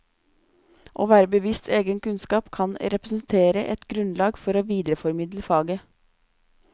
Å være bevisst egen kunnskap kan representere et grunnlag for å videreformidle faget.